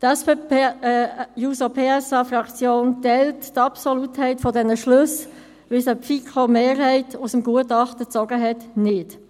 Die SP-JUSO-PSA-Fraktion teilt die Absolutheit dieser Schlüsse, wie sie die FiKo-Mehrheit aus dem Gutachten zog, nicht.